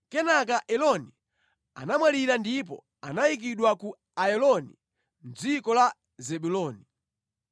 Kenaka Eloni anamwalira ndipo anayikidwa ku Ayaloni mʼdziko la Zebuloni.